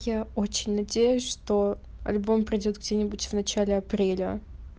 я очень надеюсь что альбом пройдёт где-нибудь в начале апреля